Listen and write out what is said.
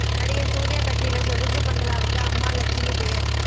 நடிகர் சூர்யா கட்டியுள்ள சொகுசு பங்களாவுக்கு அம்மா லட்சுமி பெயர்